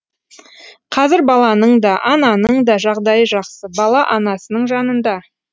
қазір баланың да ананың да жағдайы жақсы бала анасының жанында